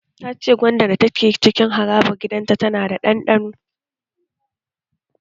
Ta ce gwandan da ke cikin harabar gidan ta yana da ɗanɗano